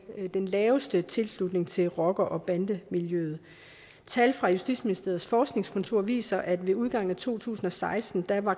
den laveste tilslutning til rocker og bandemiljøet tal fra justitsministeriets forskningskontor viser at ved udgangen af to tusind og seksten var